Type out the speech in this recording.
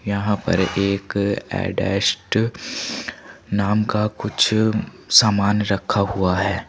यहां पर एक एडस्ट नाम का कुछ सामान रखा हुआ है।